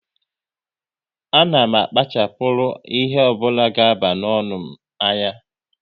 A na m akpachapuru ihe ọ bụla ga aba n'ọnụ m anya